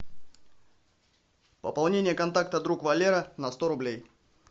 пополнение контакта друг валера на сто рублей